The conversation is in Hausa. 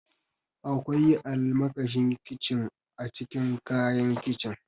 Akwai almakashin kincin a cikin kayan kicin.